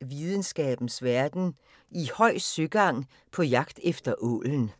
Videnskabens Verden: I høj søgang på jagt efter ålen *